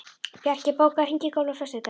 Bjarki, bókaðu hring í golf á föstudaginn.